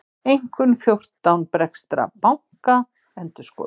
Einkunn fjórtán breskra banka endurskoðuð